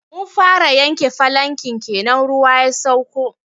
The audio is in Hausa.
Mun fara yanke falanken kenan ruwa ya sauko.